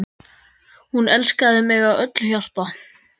Hún elskaði mig af öllu hjarta.